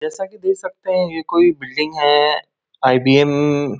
जैसे कि देख सकते हैं यह कोई बिल्डिंग है-ए-ए । आई.बी.एम. -म-म--